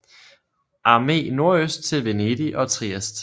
Armé nordøst til Venedig og Trieste